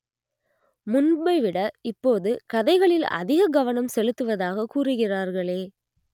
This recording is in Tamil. முன்பைவிட இப்போது கதைகளில் அதிக கவனம் செலுத்துவதாக கூறுகிறார்களே